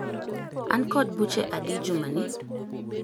An kod buche adi jumani?